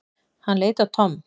Hann leit á Tom.